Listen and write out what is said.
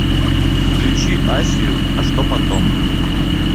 включи асию а что потом